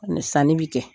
Ani sanni bɛ kɛ